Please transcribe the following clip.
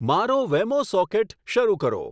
મારો Wemo socket શરુ કરો